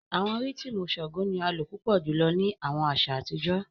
Awọn rhythmu Shango ni a lo pupọ julọ ni awọn aṣa atijọ.